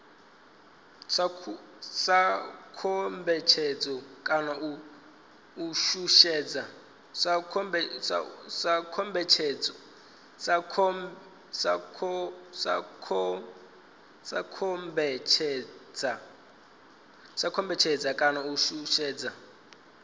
sa kombetshedza kana u shushedza